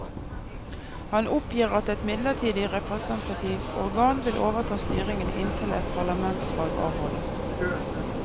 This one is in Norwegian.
Han oppgir at et midlertidig representativt organ vil overta styringen inntil et parlamentsvalg avholdes.